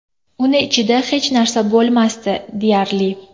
Uni ichida hech narsa bo‘lmasdi, deyarli.